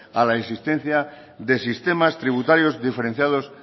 a la existencia de sistemas tributarios diferenciados